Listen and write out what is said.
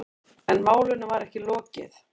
En málinu var ekki lokið.